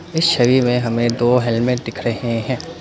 इस छवि में हमें दो हेलमेट दिख रहे हैं।